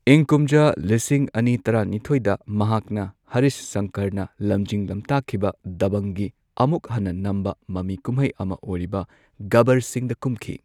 ꯏꯪ ꯀꯨꯝꯖꯥ ꯂꯤꯁꯤꯡ ꯑꯅꯤ ꯇꯔꯥꯅꯤꯊꯣꯏꯗ ꯃꯍꯥꯛꯅ ꯍꯔꯤꯁ ꯁꯪꯀꯔꯅ ꯂꯝꯖꯤꯡ ꯂꯝꯇꯥꯛꯈꯤꯕ ꯗꯕꯪꯒꯤ ꯑꯃꯨꯛ ꯍꯟꯅ ꯅꯝꯕ ꯃꯃꯤ ꯀꯨꯝꯍꯩ ꯑꯃ ꯑꯣꯏꯔꯤꯕ ꯒꯕꯕꯔ ꯁꯤꯡꯗ ꯀꯨꯝꯈꯤ꯫